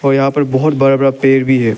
और यहां पर बहोत बड़ा बड़ा पेड़ भी है।